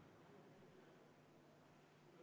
Ettepanek ei leidnud toetust.